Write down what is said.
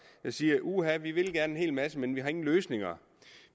de siger uha vi vil gerne en hel masse men vi har ingen løsninger